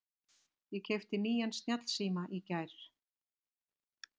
Ég keypti nýjan snjallsíma í gær.